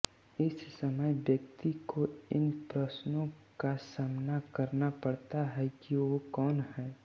इस समय व्यक्ति को इन प्रश्नों का सामना करना पड़ता है कि वो कौन है